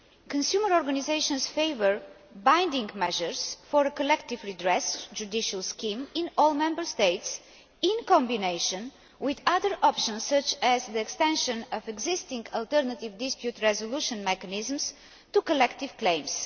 Consumer organisations favour binding measures for a collective redress judicial scheme in all Member States in combination with other options, such as the extension of existing alternative dispute resolution mechanisms to collective claims.